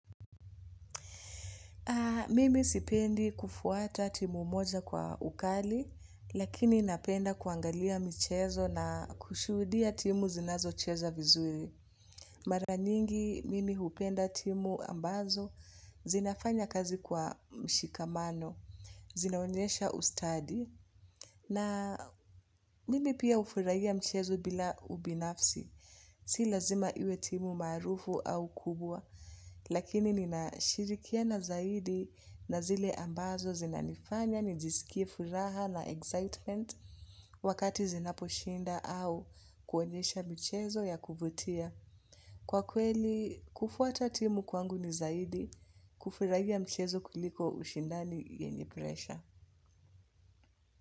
Mimi sipendi kufuata timu moja kwa ukali, lakini napenda kuangalia mchezo na kushuhudia timu zinazocheza vizuri. Mara nyingi, mimi hupenda timu ambazo, zinafanya kazi kwa mshikamano, zinaonyesha ustadi, na mimi pia hufurahia mchezo bila ubinafsi. Si lazima iwe timu maarufu au kubwa, lakini ninashirikiana zaidi na zile ambazo zinanifanya nijisikie furaha na excitement wakati zinaposhinda au kuonyesha mchezo ya kuvutia. Kwa kweli, kufuata timu kwangu ni zaidi kufurahia mchezo kuliko ushindani yenye presha.